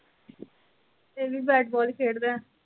ਇਹ ਵੀ ਬੈਟਬੋਲ ਖੇਡ ਦਾ।